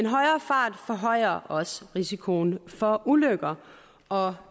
højere fart forhøjer også risikoen for ulykker og